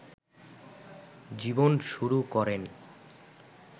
জীবন শুরু করেন